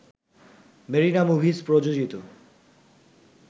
Marina Movies প্রযোজিত